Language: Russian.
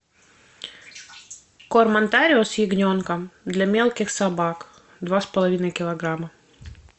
корм онтарио с ягненком для мелких собак два с половиной килограмма